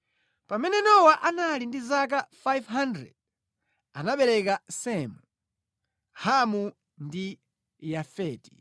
Pamene Nowa anali ndi zaka 500, anabereka Semu, Hamu ndi Yafeti.